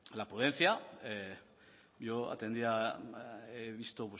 yo he visto